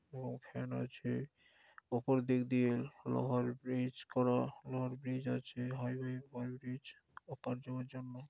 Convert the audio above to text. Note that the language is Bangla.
ফ্যান আছে | উপর দিক দিয়ে লোহার ব্রিজ করা | লোহার ব্রিজ আছে হাইওয়ে ওপার যাবার জন্য।